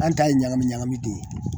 An ta ye ɲagami ɲagami ten ye